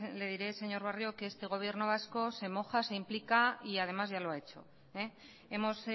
le diré señor barrio que este gobierno vasco se moja se implica y además ya lo ha hecho hemos